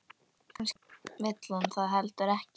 Kannski vill hann það heldur ekki.